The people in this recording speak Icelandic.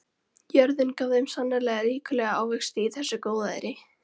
Jörðin gaf þeim sannarlega ríkulega ávexti í þessu góðæri.